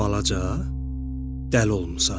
Balaca, dəli olmusan?